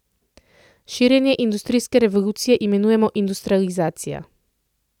Širjenje industrijske revolucije imenujemo industrializacija.